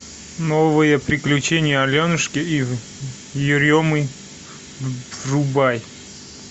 новые приключения аленушки и еремы врубай